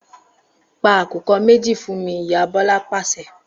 Pa àkùkọ méjì fún mi!', ìyá Bọlá pàṣẹ